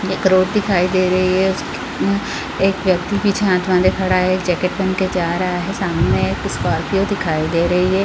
एक रोड दिखाई दे रही है उसके एक व्यक्ति पीछे हाथ बांधे खड़ा है एक जैकेट पहन कर जा रहा है सामने एक स्कार्पिओ दिखाई दे रही है।